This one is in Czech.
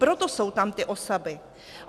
Proto jsou tam ty osoby.